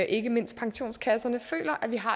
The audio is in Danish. ikke mindst pensionskasserne føler at vi har